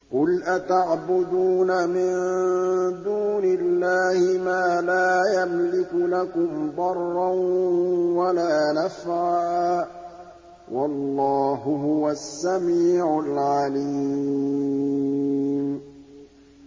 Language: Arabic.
قُلْ أَتَعْبُدُونَ مِن دُونِ اللَّهِ مَا لَا يَمْلِكُ لَكُمْ ضَرًّا وَلَا نَفْعًا ۚ وَاللَّهُ هُوَ السَّمِيعُ الْعَلِيمُ